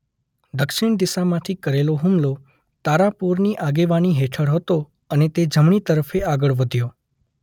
દક્ષિણ દિશામાંથી કરેલો હુમલો તારાપોરની આગેવાની હેઠળ હતો અને તે જમણી તરફે આગળ વધ્યો.